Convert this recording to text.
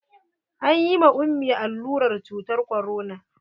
An yi ma ummi allurar cutar korona.